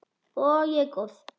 Og ég er góð.